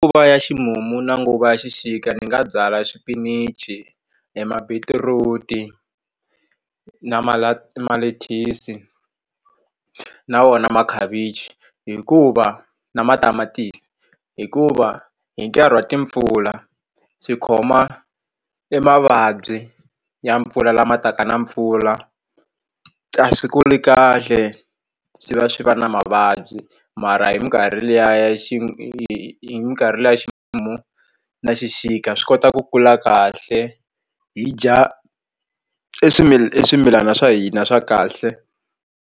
Nguva ya ximumu na nguva ya xixika ndzi nga byala swipinichi e ma beetroot na malethisi na wona makhavichi hikuva na matamatisi hikuva hi nkarhi wa timpfula swi khoma i mavabyi ya mpfula lama taka na mpfula a swi kuli kahle swi va swi va na mavabyi mara hi minkarhi liya ya hi minkarhi liya ximumu na xixika swi kota ku kula kahle hi dya swimilana swa hina swa kahle.